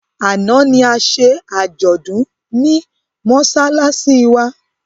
Àná ni a ṣe àjọ̀dún ní mọ́ṣáláṣí wa.